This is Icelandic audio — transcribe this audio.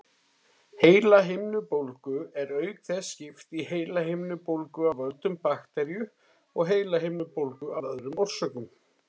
Heilahimnubólgu er auk þess skipt í heilahimnubólgu af völdum baktería og heilahimnubólgu af öðrum orsökum.